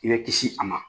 I bɛ kisi a ma